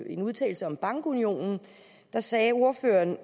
en udtalelse om bankunionen der sagde ordføreren